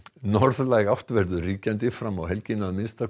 norðlæg átt verður ríkjandi fram á helgina hið minnsta